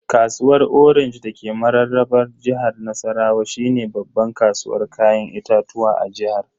Kasuwar orange dake mararraba jihar Nassarawa shine babban kasuwar Kayan itatuwa a jihar.